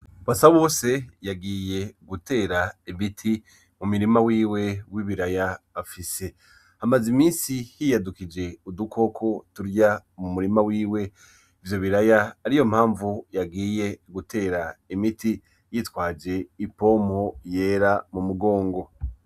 Basabose yagiye gutera imiti mumurima wiwe w'ibiraya afise ,Hamaze iminsi hiyadukije udukoko turya umurima wiwe ivyo biraya ariyo mpamvu yagiye gutera imiti yitwaje ipompo yera mumugongo